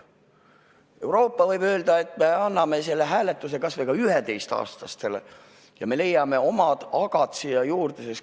Euroopa võib öelda, et me anname selle hääletusõiguse kas või ka 11-aastastele, ja meie leiame omad agad sinna juurde.